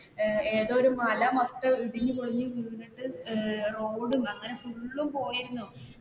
ഏതോ ഒരു മല മൊത്തം ഇടിഞ്ഞു പൊളിഞ്ഞു വീണിട്ട് അങ്ങനെ പോയിരുന്നു.